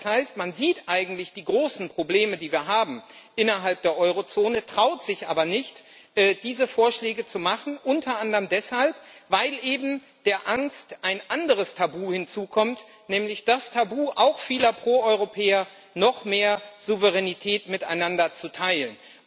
Das heißt, man sieht eigentlich die großen Probleme, die wir innerhalb der Eurozone haben, traut sich aber nicht, diese Vorschläge zu machen, unter anderem deshalb, weil eben zu der Angst ein anderes Tabu hinzukommt, nämlich das Tabu auch vieler Pro Europäer noch mehr Souveränität miteinander zu teilen.